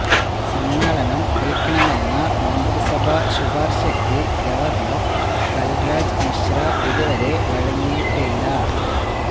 സമ്മേളനം വിളിക്കണമെന്ന മന്ത്രിസഭാ ശുപാർശയ്ക്ക് ഗവർണർ കൽരാജ് മിശ്ര ഇത് വരെ വഴങ്ങിയിട്ടില്ല